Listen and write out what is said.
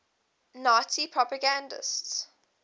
nazi propagandists